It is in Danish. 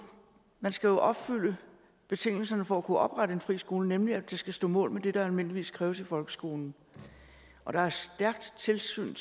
man skal jo opfylde betingelserne for at kunne oprette en friskole nemlig at det skal stå mål med det der almindeligvis kræves i folkeskolen og der er stærkt tilsyn